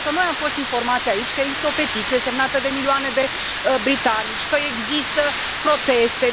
Noi am fost informați aici că există o petiție, semnată de milioane de britanici, că există proteste.